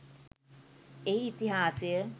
එහි ඉතිහාසය